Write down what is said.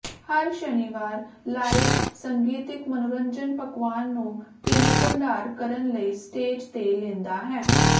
ਹਰ ਸ਼ਨੀਵਾਰ ਲਾਈਵ ਸੰਗੀਤਿਕ ਮਨੋਰੰਜਨ ਪਕਵਾਨ ਨੂੰ ਭੀੜ ਭੰਡਾਰ ਕਰਨ ਲਈ ਸਟੇਜ਼ ਤੇ ਲੈਂਦਾ ਹੈ